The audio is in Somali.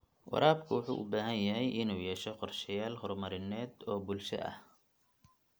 Waraabka wuxuu u baahan yahay inuu yeesho qorshayaal horumarineed oo bulshada ah.